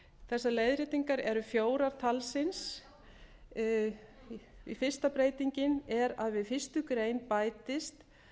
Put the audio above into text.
þessar breytingar eru fjórar talsins fyrsta breytingin er að við fyrstu grein bætist